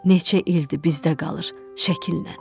Neçə ildi bizdə qalır şəkillə.